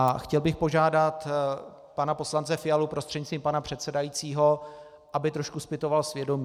A chtěl bych požádat pana poslance Fialu, prostřednictvím pana předsedajícího, aby trošku zpytoval svědomí.